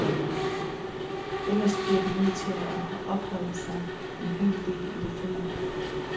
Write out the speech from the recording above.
Ellers bliver de nødt til at opholde sig en hel del i det fri.